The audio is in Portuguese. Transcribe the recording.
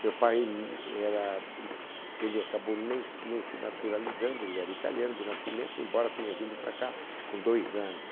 Meu pai n era... It ele acabou nem nem se naturalizando, ele era italiano de nascimento, embora tenha vindo para cá com dois anos.